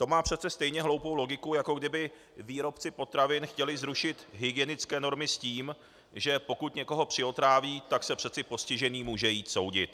To má přece stejně hloupou logiku, jako kdyby výrobci potravin chtěli zrušit hygienické normy s tím, že pokud někoho přiotráví, tak se přece postižený může jít soudit.